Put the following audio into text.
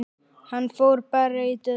Hann fór bara í döðlur!